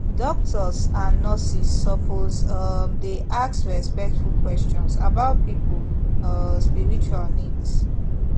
doctors and nurses suppose um dey ask respectful questions about people um spiritual needs